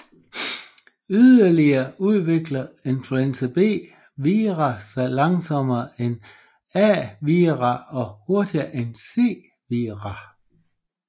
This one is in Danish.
Yderligere udvikler influenza B vira sig langsommere end A vira og hurtigere en C vira